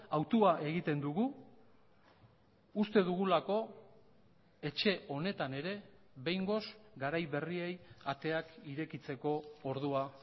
hautua egiten dugu uste dugulako etxe honetan ere behingoz garai berriei ateak irekitzeko ordua